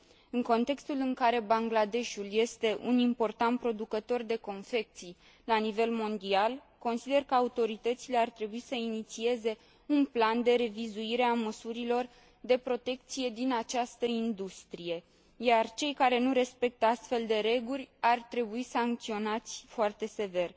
În contextul în care Bangladeshul este un important producător de confecții la nivel mondial, consider că autoritățile ar trebui să inițieze un plan de revizuire a măsurilor de protecție din această industrie, iar cei care nu respectă astfel de reguli ar trebui sancționați foarte sever.